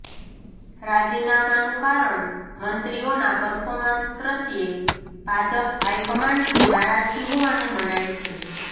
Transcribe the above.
રાજીનામાનું કારણ મંત્રીઓનાં પર્ફોર્મન્સ પ્રત્યે ભાજપ હાઈ કમાન્ડની નારાજગી હોવાનું મનાય છે